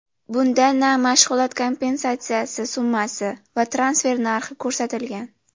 Bunda na mashg‘ulot kompensatsiyasi summasi va transfer narxi ko‘rsatilgan.